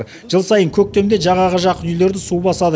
жыл сайын көктемде жағаға жақын үйлерді су басады